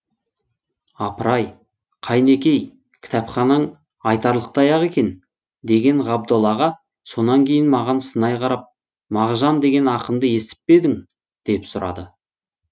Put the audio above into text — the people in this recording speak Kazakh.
апыр ай қайнекей кітапханаң айтарлықтай ақ екен деген ғабдол аға сонан кейін маған сынай қарап мағжан деген ақынды естіп пе едің деп сұрады